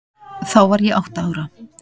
Þá var ég átta ára.